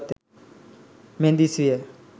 මෙන් දිස් විය.